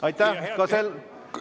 Aitäh!